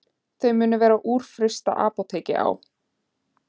Þau munu vera úr fyrsta apóteki á